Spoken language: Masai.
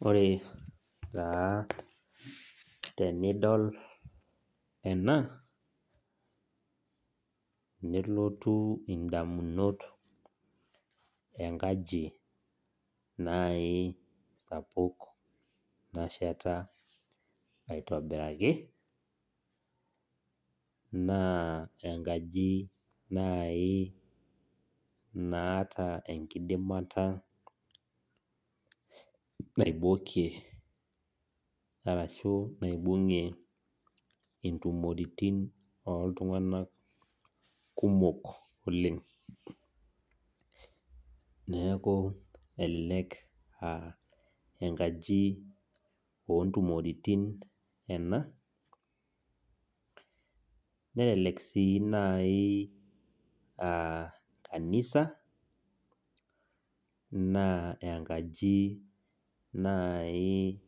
Wore taa tenidol ena, nelotu indamunot enkaji naai sapuk nasheta aitobiraki. Naa enkaji naai naata enkidimata naibokie arashu naibungie intomoritin oltunganak kumok oleng'. Neeku elelek aa enkaji oontumoritin ena, nelelek sii naai aa kanisa, naa enkaji naai